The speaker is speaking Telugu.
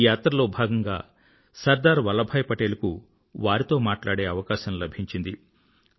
ఈ యాత్రలో భాగంగా సర్దార్ వల్లభాయ్ పటేల్ కు వారితో మాట్లాడే అవకాశం లభించింది